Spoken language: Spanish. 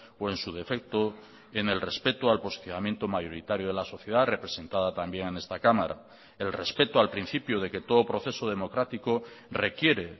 o en su defecto en el respeto al posicionamiento mayoritario de la sociedad representada también en esta cámara el respeto al principio de que todo proceso democrático requiere